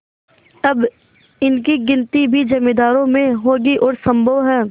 अब इनकी गिनती भी जमींदारों में होगी और सम्भव है